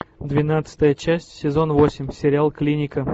двенадцатая часть сезон восемь сериал клиника